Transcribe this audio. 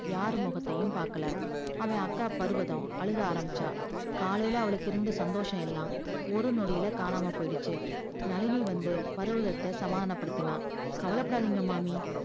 யார் முகத்தையும் பாக்கள அவ அக்கா பருவதம் அழ ஆரம்பிச்சா காலைல அவளுக்கு இருந்த சந்தோசம் எல்லா ஒரு நொடில காணாம போச்சி நளினி வந்து பருவத்த சமாதான படுத்தினா கவலபடாதீங்க மாமி